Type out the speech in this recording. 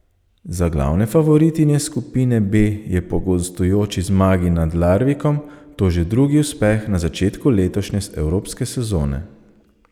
Za glavne favoritinje skupine B je po gostujoči zmagi nad Larvikom to že drugi uspeh na začetku letošnje evropske sezone.